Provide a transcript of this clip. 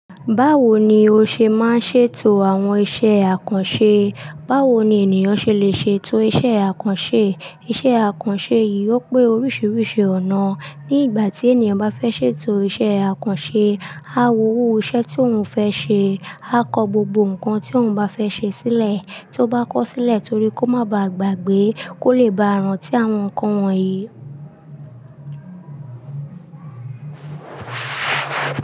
Báwo ni o ṣe máa ṣe to àwọn iṣẹ́ àkànṣe? Báwo ni ènìyàn ṣe lè ṣe to iṣẹ́ àkànṣe? Iṣẹ́ àkànṣe yìí ó pé oríṣiríṣi ọ̀nà. Ní ìgbà tí ènìyàn bá fẹ́ ṣe to iṣẹ́ àkànṣe, a wo irú iṣẹ́ tí òun fẹ́ ṣe, a kọ gbogbo nǹkan tí òun bá fẹ́ ṣe sílẹ̀, tó bá kọ́ sílẹ̀ torí kó má ba à gbàgbé kó lè bá ràn tí àwọn nǹkan wọ̀nyí.